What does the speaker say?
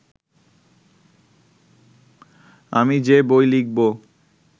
আমি যে বই লিখব